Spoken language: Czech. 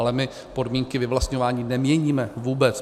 Ale my podmínky vyvlastňování neměníme, vůbec.